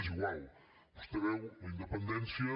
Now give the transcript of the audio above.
és igual vostè veu la independència